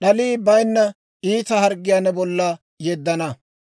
d'alii bayinna iita harggiyaa ne bolla yeddana.